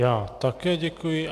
Já také děkuji.